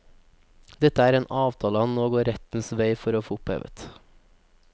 Dette er en avtale han nå går rettens vei for å få opphevet.